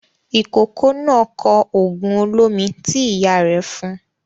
Ìkókó náà kọ òògùn olómi tí ìyá rẹ̀ fún un.